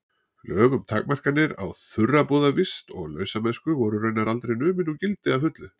Lög um takmarkanir á þurrabúðarvist og lausamennsku voru raunar aldrei numin úr gildi að fullu.